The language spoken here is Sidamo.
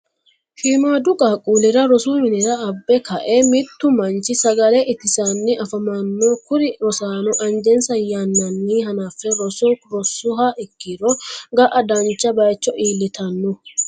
shiimaadu qaquulira rosu minnira abbe ka'e mittu manchi sagalle itisanni afamanno kuri rosaano anjessa yananni hanafe roso rosuha ikiro ga'a dancha bayicho ilitanno.